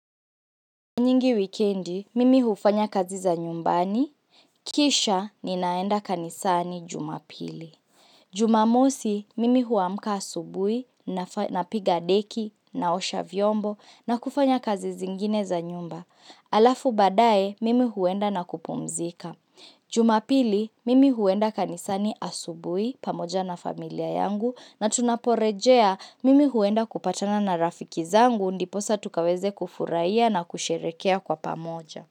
Nyingi wikendi, mimi hufanya kazi za nyumbani. Kisha, ninaenda kanisani jumapili. Jumamosi, mimi huamka asubuhi, napiga deki, naosha vyombo, na kufanya kazi zingine za nyumba. Halafu baadaye, mimi huenda na kupumzika. Jumapili, mimi huenda kanisani asubuhi, pamoja na familia yangu, na tunaporejea mimi huenda kupatana na rafiki zangu ndiposa tukaweze kufurahiya na kusherekea kwa pamoja.